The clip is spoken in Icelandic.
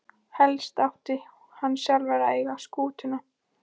Helst átti hann sjálfur að eiga skútuna.